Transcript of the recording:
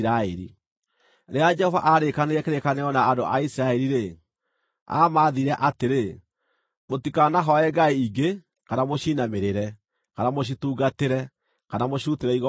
Rĩrĩa Jehova aarĩkanĩire kĩrĩkanĩro na andũ a Isiraeli-rĩ, aamaathire atĩrĩ: “Mũtikanahooe ngai ingĩ, kana mũciinamĩrĩre, kana mũcitungatĩre, kana mũcirutĩre igongona.